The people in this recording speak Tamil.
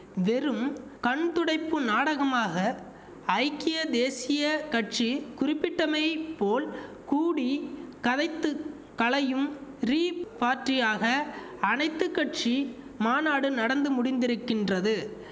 வெறும் கண்துடைப்பு நாடகமாக ஐக்கிய தேசிய கட்சி குறிப்பிட்டமை போல் கூடி கதைத்துக் கலையும் ரீ பார்ட்டியாக அனைத்து கட்சி மாநாடு நடந்து முடிந்திருக்கின்றது